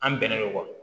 An bɛnnen don